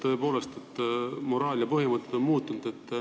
Tõepoolest, moraal ja põhimõtted on muutunud.